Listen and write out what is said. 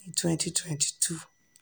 ni twenty twenty two